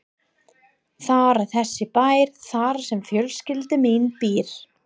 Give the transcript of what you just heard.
Þar er þessi bær þar sem fjölskyldan mín býr.